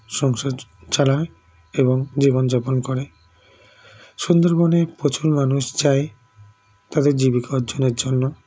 সংসার চচালায় এবং জীবনযাপন করে সুন্দরবনে প্রচুর মানুষ যায় তাদের জীবিকা অর্জনের জন্য